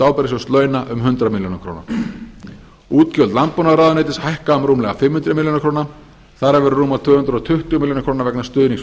ábyrgðasjóðs launa um hundrað og átján milljónir króna útgjöld landbúnaðarráðuneytis hækka um rúmlega fimm hundruð milljóna króna þar af eru rúmlega tvö hundruð milljóna króna vegna stuðnings við